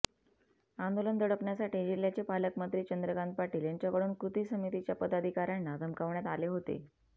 आंदोलन दडपण्यासाठी जिह्याचे पालकमंत्री चंद्रकांत पाटील यांच्याकडून कृती समितीच्या पदाधिकाऱयांना धमकावण्यात आले होते